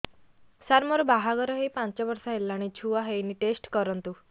ସାର ମୋର ବାହାଘର ହେଇ ପାଞ୍ଚ ବର୍ଷ ହେଲାନି ଛୁଆ ହେଇନି ଟେଷ୍ଟ କରନ୍ତୁ